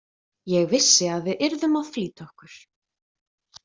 Ég vissi að við yrðum að flýta okkur.